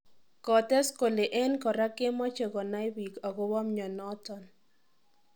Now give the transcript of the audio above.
Kotees kole en kora kemoche konai biik agobo mionoton.